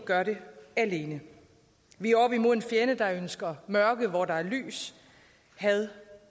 alene vi er oppe imod en fjende der ønsker mørke hvor der er lys had